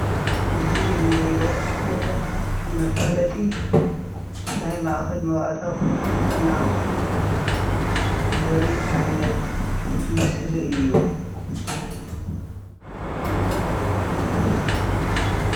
እዚ እንሪኦ ዘለና መፋለጢ ናይ ማእኸል መባእታዊ ክንክን ጥዕና ኣክሱም ዘርኢ ዓይነት ምስሊ እዩ።